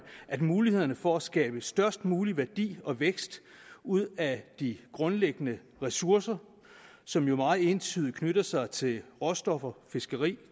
at mulighederne for at skabe størst mulig værdi og vækst ud af de grundlæggende ressourcer som jo meget entydigt knytter sig til råstoffer fiskeri